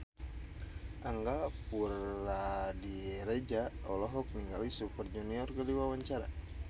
Angga Puradiredja olohok ningali Super Junior keur diwawancara